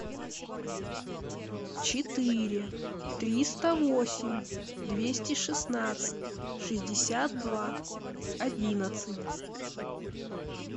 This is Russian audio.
четыре триста восемь двести шестнадцать шестьдесят два одиннадцать